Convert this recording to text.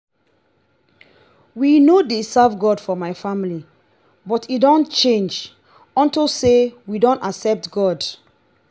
we no dey serve god for my family but e don change unto say we don accept god